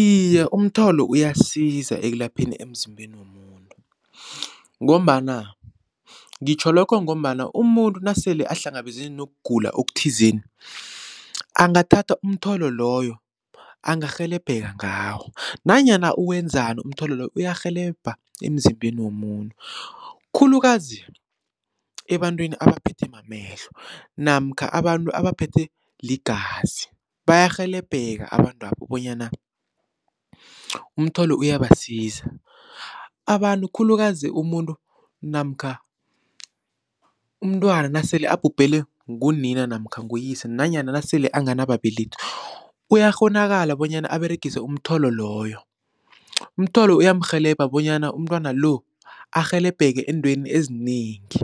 Iye umtholo uyasiza ekulapheni emzimbeni womuntu ngombana ngitjho lokho ngombana umuntu nasele ahlangabezene nokugula okuthizeni angathatha umtholo loyo angarhelebheka ngawo, nanyana uwenzani umtholo loyo uyarhelebha emzimbeni womuntu. Khulukazi ebantwini abaphethwe mamehlo namkha abantu abaphethwe ligazi bayarhelebheka abantwabo bonyana umtholo uyabasiza. Abantu khulukazi umuntu namkha umntwana nasele abhubhele ngunina namkha nguyise nanyana nasele anganababelethi uyakghonakala bonyana aberegise umtholo loyo, umtholo uyamrhelebha bonyana umntwana lo arhelebheke eentweni ezinengi.